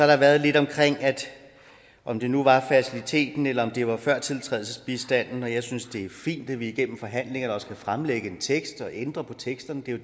der været lidt omkring om det nu var faciliteten eller om det var førtiltrædelsesbistanden jeg synes det er fint at vi igennem forhandlingerne også kan fremlægge en tekst og ændre på teksterne det er